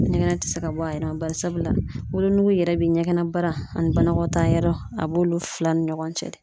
Ɲɛgɛn tɛ se ka bɔ a yɛrɛ la barisabula wolonugu yɛrɛ bɛ ɲɛgɛnbana , ani banakɔtaa yɔrɔ, a b'olu fila ni ɲɔgɔn cɛ de.